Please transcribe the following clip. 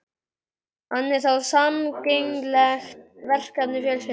Hann er þá sameiginlegt verkefni fjölskyldunnar.